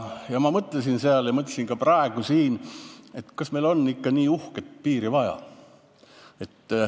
Ma mõtlesin seal ja mõtlesin ka praegu siin, kas meil on ikka nii uhket piiri vaja.